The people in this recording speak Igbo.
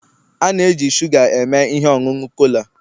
a na-eji shuga eme ihe ọṅụṅụ cola